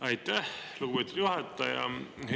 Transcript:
Aitäh, lugupeetud juhataja!